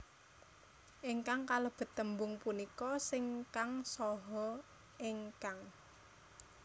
Ingkang kalebet tembung punika sing kang saha ingkang